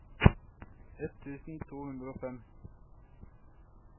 ett tusen to hundre og fem